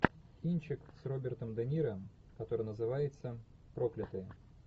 кинчик с робертом де ниро который называется проклятые